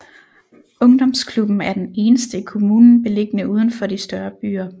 Ungdomsklubben er den eneste i kommunen beliggende udenfor de større byer